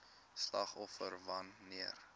slagoffers wan neer